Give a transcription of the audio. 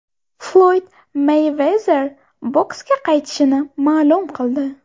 Floyd Meyvezer boksga qaytishini ma’lum qildi.